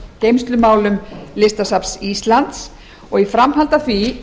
geymslumálum listasafns íslands og í framhaldi af því